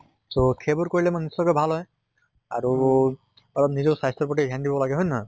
so সেইবোৰ কৰিলে মানে নিশ্চয়্কৈ ভাল হয়। আৰু অলপ নিজৰ স্বাস্থ্য়ৰ প্ৰতি ধ্য়ান দিব লাগে হয় নে নহয়?